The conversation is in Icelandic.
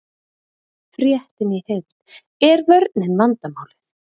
Fréttin í heild: Er vörnin vandamálið?